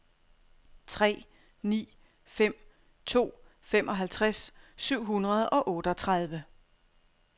tre ni fem to femoghalvtreds syv hundrede og otteogtredive